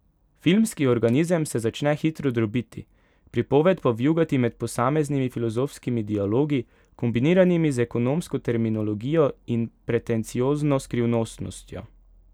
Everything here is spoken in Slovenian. Filmski organizem se začne hitro drobiti, pripoved pa vijugati med posameznimi filozofskimi dialogi, kombiniranimi z ekonomsko terminologijo in pretenciozno skrivnostnostjo.